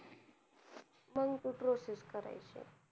मग ते process करायचे